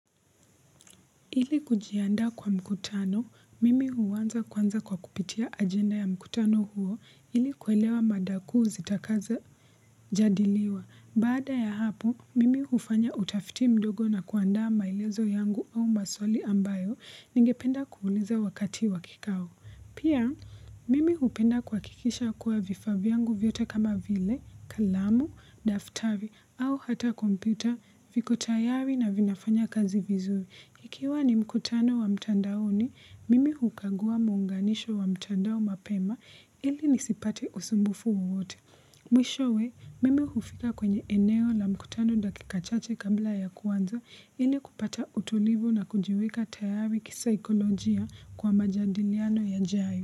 Ili kujiandaa kwa mkutano, mimi huanza kwanza kwa kupitia ajenda ya mkutano huo ili kuelewa mada kuu zitakazi jadiliwa. Baada ya hapo, mimi hufanya utafiti mdogo na kuandaa maelezo yangu au maswali ambayo ningependa kuuliza wakati wa kikao. Pia, mimi upenda kuhakikisha kuwa vifaa vyangu vyote kama vile, kalamu, daftari au hata kompyuta, viko tayari na vinafanya kazi vizuri. Ikiwa ni mkutano wa mtandaoni, mimi hukagua muunganisho wa mtandao mapema ili nisipate usumbufu wowote. Mwishowe, mimi hufika kwenye eneo la mkutano dakika chache kabla ya kuanza ili kupata utulivu na kujiweka tayari kisaikolojia kwa majadiliano yajayo.